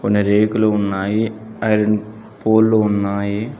కొన్ని రేకులు ఉన్నాయి ఐరన్ పోల్లు ఉన్నాయి.